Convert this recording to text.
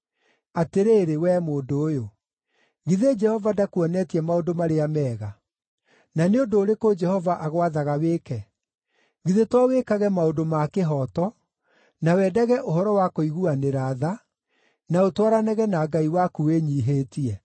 Atĩrĩrĩ, wee mũndũ ũyũ, githĩ Jehova ndakuonetie maũndũ marĩa mega. Na nĩ ũndũ ũrĩkũ Jehova agwathaga wĩke? Githĩ to wĩkage maũndũ ma kĩhooto, na wendage ũhoro wa kũiguanĩra tha, na ũtwaranage na Ngai waku wĩnyiihĩtie.